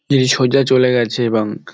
যে সোজা চলে গেছে এবং খ--